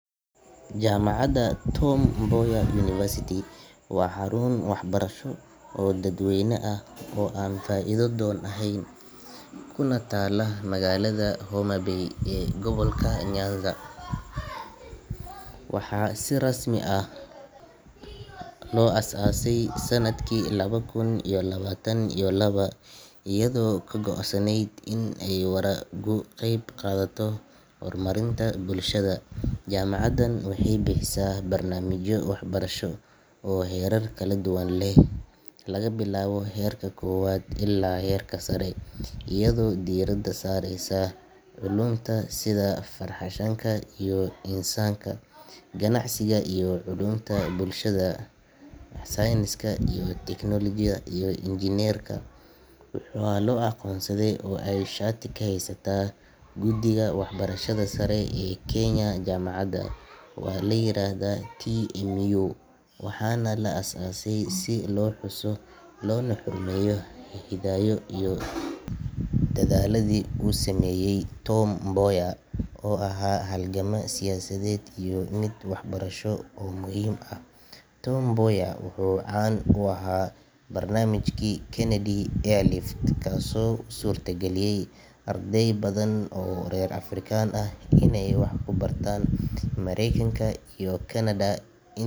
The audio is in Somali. Jaamacadda Tom Mboya University waa xarun waxbarasho oo dadweyne ah oo aan faa’iido doon ahayn, kuna taalla magaalada Homa Bay ee gobolka Nyanza, Kenya. Waxaa si rasmi ah loo aasaasay sanadkii laba kun iyo labaatan iyo laba (2022) iyadoo ka go’an inay si waara uga qayb qaadato horumarinta bulshada. Jaamacaddan waxay bixisaa barnaamijyo waxbarasho oo heerar kala duwan leh, laga bilaabo heerka koowaad ilaa heerka sare, iyadoo diiradda saareysa culuumta sida farshaxanka iyo insaanka, ganacsiga iyo culuumta bulshada, culuumta caafimaadka, sayniska iyo tiknoolajiyada, iyo injineerinka . Waxaa la aqoonsaday oo ay shati ka haysataa Guddiga Waxbarashada Sare ee Kenya. Jaamacadda waxaa la yiraahdaa TMU, waxaana la aasaasay si loo xuso loona xurmeeyo hiddaha iyo dadaalladii uu sameeyay Tom Mboya, oo ahaa halgamaa siyaasadeed iyo mid waxbarasho oo muhiim ah. Tom Mboya wuxuu caan ku ahaa barnaamijkii Kennedy Airlift, kaasoo u suurtageliyay arday badan oo reer Afrika ah inay wax ka bartaan Mareykanka iyo Kanada in.